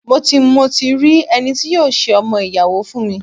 Mo ti mo ti rí ẹni tí yóò ṣe ọmọ-ìyàwó fún mi.